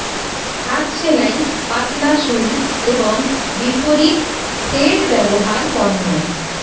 হাত সেলাই পাতলা সুই এবং বিপরীত থ্রেড ব্যবহার পণ্য